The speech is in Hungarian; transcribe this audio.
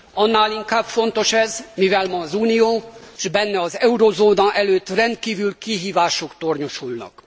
Annál inkább fontos ez, mivel ma az Unió, s benne az eurózóna előtt rendkívüli kihívások tornyosulnak.